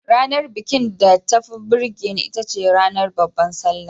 Ranar bikin da tafi burge ni itace ranar Babbar Sallah.